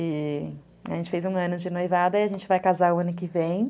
E a gente fez um ano de noivada e a gente vai casar o ano que vem.